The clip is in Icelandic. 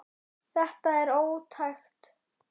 Þetta er ótækt.